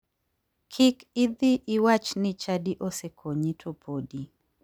Kik idhi iwach ni chadi osekonyi to podi.